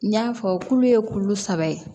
N y'a fɔ tulo ye kulo saba ye